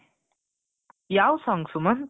ಯಾವ song ಸುಮಂತ್,